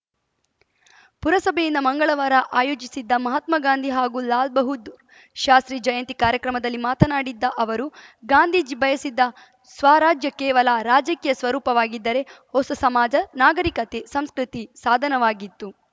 ಪುರಸಭೆಯಿಂದ ಮಂಗಳವಾರ ಆಯೋಜಿಸಿದ್ದ ಮಹಾತ್ಮಾ ಗಾಂಧಿ ಹಾಗೂ ಲಾಲಾ ಬಹದ್ದೂ ಶಾಸ್ತ್ರಿ ಜಯಂತಿ ಕಾರ್ಯಕ್ರಮದಲ್ಲಿ ಮಾತನಾಡಿದ್ದ ಅವರು ಗಾಂಧೀಜಿ ಬಯಸಿದ್ದ ಸ್ವರಾಜ್ಯ ಕೇವಲ ರಾಜಕೀಯ ಸ್ವರೂಪವಾಗಿದ್ದರೆ ಹೊಸ ಸಮಾಜ ನಾಗರಿಕತೆ ಸಂಸ್ಕೃತಿ ಸಾಧನವಾಗಿತ್ತು